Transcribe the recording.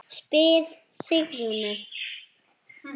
spyr Sigrún.